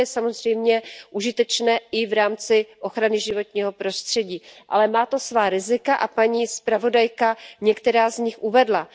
To je samozřejmě užitečné i v rámci ochrany životního prostředí, ale má to svá rizika a paní zpravodajka některá z nich uvedla.